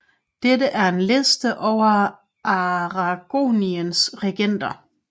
Dette er en liste over Aragoniens regenter